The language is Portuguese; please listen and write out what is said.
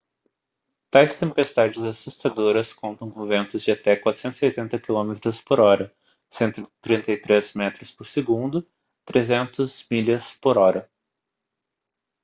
tais tempestades assustadoras contam com ventos de até 480 km/h 133 m/s; 300 mph